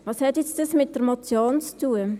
Was hat dies nun mit der Motion zu tun?